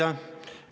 Aitäh!